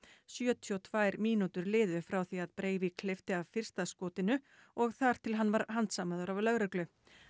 sjötíu og tvær mínútur liðu frá því að Breivik hleypti af fyrsta skotinu og þar til hann var handsamaður af lögreglu